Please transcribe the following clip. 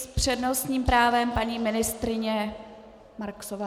S přednostním právem paní ministryně Marksová.